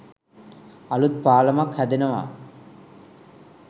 අලුත් පාලම්ක් හැදෙනවා